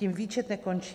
Tím výčet nekončí.